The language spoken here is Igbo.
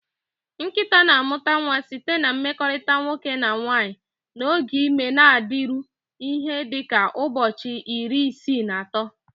Nkịta na-amụpụta nwa site na mmekorita nwoke na nwanyị, na oge ime na-adịru ihe dị ka ụbọchị iri isii na ato.